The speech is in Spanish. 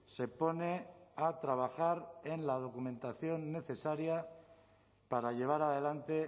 se pone a trabajar en la documentación necesaria para llevar adelante